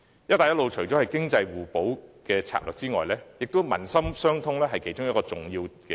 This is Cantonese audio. "一帶一路"除了是作為經濟互補的策略外，也以達致民心相通為目的。